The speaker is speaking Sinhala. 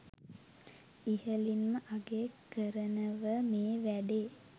ඉහලින්ම අගය කරනව මේ වැඩේ